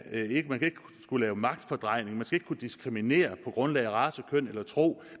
kunne lave magtfordrejning man skal kunne diskriminere på grundlag af race køn eller tro